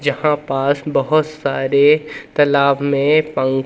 जहां पास बहोत सारे तालाब में पं--